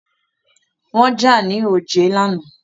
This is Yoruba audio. Wọ́n jà ní òjé lánàá.